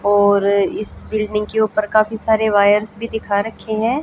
और इस बिल्डिंग के ऊपर काफी सारे वायर्स भी दिखा रखे हैं।